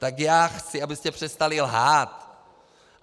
Tak já chci, abyste přestali lhát.